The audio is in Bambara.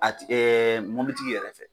A ti mobilitigi yɛrɛ tɛ.